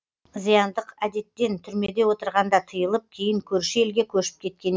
зияндық әдеттен түрмеде отырғанда тыйылып кейін көрші елге көшіп кеткен екен